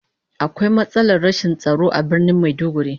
Akwai matsalar rashin tsaro a Birnin Maiduguri